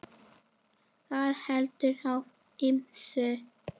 Það veltur á ýmsu.